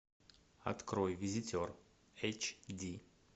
открой визитер эйч ди